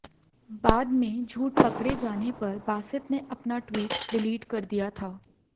बाद में झूट पकड़े जाने पर बासित ने अपना ट्वीट डिलीट कर दिया था